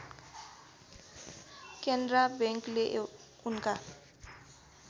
केनरा बैंकले उनका